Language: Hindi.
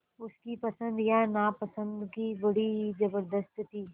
उसकी पसंद या नापसंदगी बड़ी ज़बरदस्त थी